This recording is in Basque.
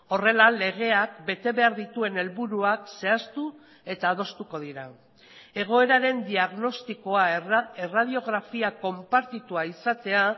horrela legeak bete behar dituen helburuak zehaztu eta adostuko dira egoeraren diagnostikoa erradiografia konpartitua izatea